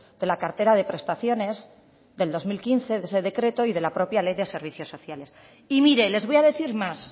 de la cartera de prestaciones del dos mil quince de ese decreto y de la propia ley de servicios sociales y mire les voy a decir más